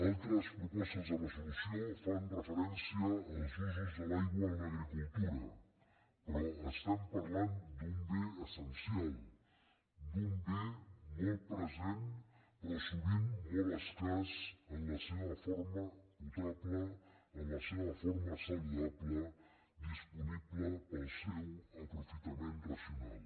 altres propostes de resolució fan referència als usos de l’aigua en l’agricultura però estem parlant d’un bé essencial d’un bé molt present però sovint molt escàs en la seva forma potable en la seva forma saludable disponible per al seu aprofitament racional